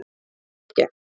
Garðatorgi